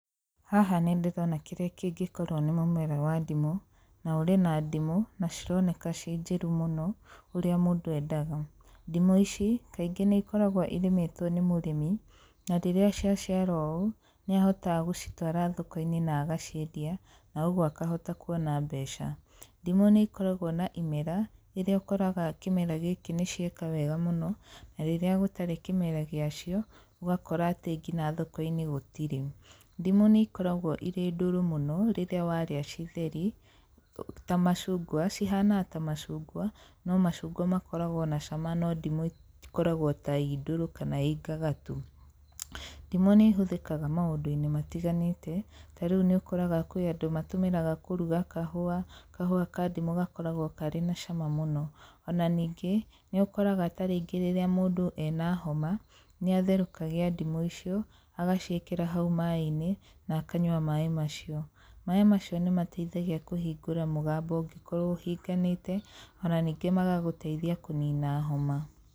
Haha nĩ ndĩrona kĩrĩa kĩngĩkorwo nĩ mũmera wa ndimũ, na ũrĩ na ndimũ, na cironeka ci njĩru mũno, ũrĩa mũndũ endaga. Ndimũ ici, kaingĩ nĩ ikoragwo ĩrĩmĩtwo nĩ mũrĩmi, na rĩrĩa ciaciara ũũ, nĩ ahotaga gũcitũara thoko-inĩ na agaciendia, na ũguo akahota kuona mbeca. Ndimũ nĩ ikoragwo na imera, rĩrĩa ũkoraga kĩmera gĩkĩ nĩ cieka wega mũno, na rĩrĩa gũtarĩ kĩmera gĩa cio, ũgakora atĩ ngina thoko-inĩ gũtirĩ. Ndimũ nĩ ikoragwo irĩa ndũrũ mũno rĩrĩa warĩa ci theri, ta macungwa cihanaga ta macungwa, no macungwa makoragwo na cama no ndimũ itikoragwo ta ii ndũrũ kana ii ngagatu. Ndimũ nĩ ĩhũthĩkaga maũndũ-inĩ matiganĩte, ta rĩu nĩ ũkoraga kwĩ andũ matũmĩraga kũruga kahũa, kahũa ka ndimũ gakoragwo karĩ na cama mũno. Ona ningĩ, nĩ ũkoraga tarĩngĩ rĩrĩa mũndũ ena homa, nĩ atherũkagia ndimũ icio, agaciĩkĩra hau maĩ-inĩ, na akanyua maĩ macio. Maĩ macio nĩ mateithagia kũhingũra mũgambo ũngĩkorwo ũhinganĩte, ona ningĩ magagũteithia kũnina homa.